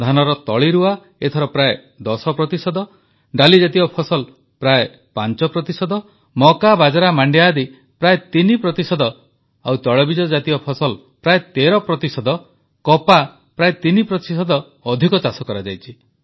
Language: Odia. ଧାନର ତଳିରୁଆ ଏଥର ପ୍ରାୟ ଦଶ ପ୍ରତିଶତ ଡାଲିଜାତୀୟ ଫସଲ ପ୍ରାୟ ପାଞ୍ଚ ପ୍ରତିଶତ ମକାବାଜରା ମାଣ୍ଡିଆ ଆଦି ପ୍ରାୟ ତିନି ପ୍ରତିଶତ ତୈଳବୀଜ ଜାତୀୟ ଫସଲ ପ୍ରାୟ ତେର ପ୍ରତିଶତ କପା ପ୍ରାୟ ତିନି ପ୍ରତିଶତ ଅଧିକ ଚାଷ କରାଯାଇଛି